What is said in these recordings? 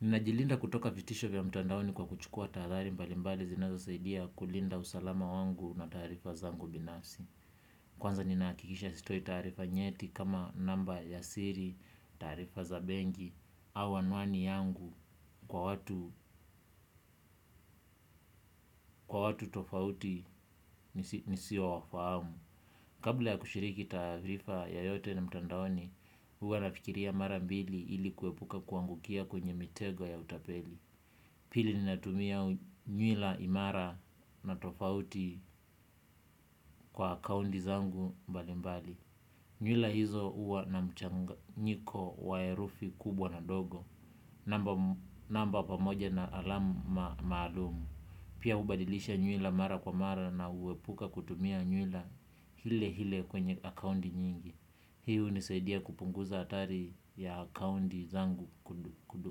Ninajilinda kutoka vitisho vya mtandaoni kwa kuchukua tahadhari mbalimbali zinazosaidia kulinda usalama wangu na taarifa zangu binafsi. Kwanza ninahakikisha sitoi taarifa nyeti kama namba ya siri, taarifa za benki, au anwani yangu kwa watu kwa watu tofauti nisi nisiowafahamu. Kabla ya kushiriki taarifa yoyote na mtandaoni, huwa nafikiria mara mbili ili kuepuka kuangukia kwenye mitego ya utapeli. Pili ninatumia nywila imara na tofauti kwa akaunti zangu mbali mbali. Nywila hizo huwa na mchanganyiko wa herufi kubwa na dogo. Namba pamoja na alamu ma maalum. Pia hubadilisha nywila mara kwa mara na huepuka kutumia nywila ile ile kwenye akaunti nyingi. Hii hunisaidia kupunguza hatari ya akaunti zangu kudo, kudo,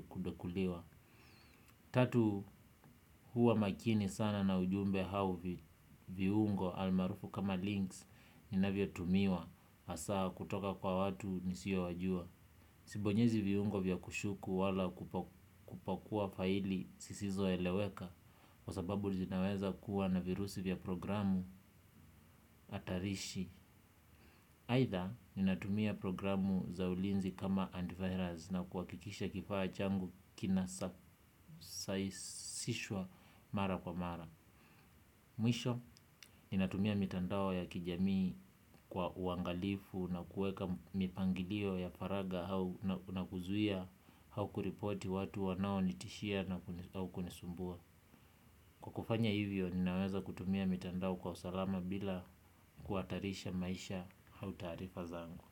kudokuliwa. Tatu huwa makini sana na ujumbe au vi, viungo almaarufu kama links inavyotumiwa hasa kutoka kwa watu nisiowajua. Sibonyezi viungo vya kushuku wala kupa, kupakua faili zisizoeleweka kwa sababu zinaweza kuwa na virusi vya programu hatarishi. Either ninatumia programu za ulinzi kama antivirus na kuhakikisha kifaa changu kinasa, sahisishwa mara kwa mara. Mwisho ninatumia mitandao ya kijamii kwa uangalifu na kueka mipangilio ya faragha au na kuzuia au kuripoti watu wanaonitishia na kuni, na kunisumbua. Kwa kufanya hivyo ninaweza kutumia mitandao kwa usalama bila kuhatarisha maisha au taarifa zangu.